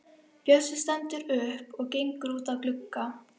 Bjössi stendur upp og gengur út að glugga.